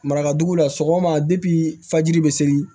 Marakaduguw la sɔgɔma depi fajiri be seli